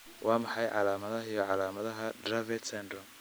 Waa maxay calaamadaha iyo calaamadaha Dravet syndrome?